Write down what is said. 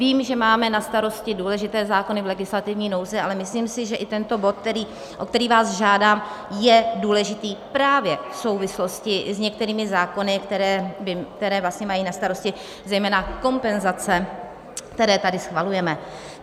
Vím, že máme na starosti důležité zákony v legislativní nouzi, ale myslím si, že i tento bod, o který vás žádám, je důležitý právě v souvislosti s některými zákony, které vlastně mají na starosti zejména kompenzace, které tady schvalujeme.